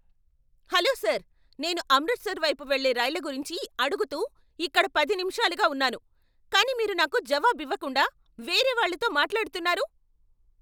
Hello sir! నేను అమృత్సర్ వైపు వెళ్ళే రైళ్ల గురించి అడుగుతూ ఇక్కడ పది నిమిషాలుగా ఉన్నాను, కానీ మీరు నాకు జవాబివ్వకుండా, వేరే వాళ్లతో మాట్లాడుతున్నారు.